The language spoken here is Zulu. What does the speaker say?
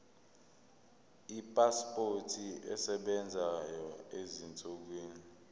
ipasipoti esebenzayo ezinsukwini